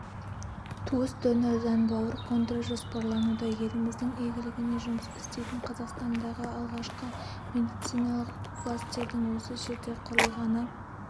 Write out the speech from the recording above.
туыс донордан бауыр қондыру жоспарлануда еліміздің игілігіне жұмыс істейтінқазақстандағы алғашқы медициналық кластердің осы жерде құрылғаны